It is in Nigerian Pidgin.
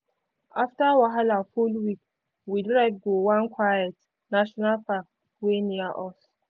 afta wahala full week we drive go one quiet national park wey near us.